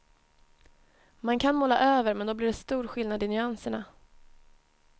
Man kan måla över men då blir det stor skillnad i nyanserna.